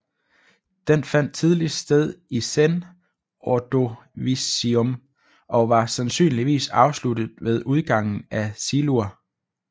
Den fandt tidligst sted i Sen Ordovicium og var sandsynligvis afsluttet ved udgangen af Silur